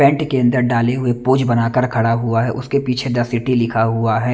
Pant के अंदर डाले हुए पोज बनाकर खड़ा हुआ है उसके पीछे द सिटी लिखा हुआ है।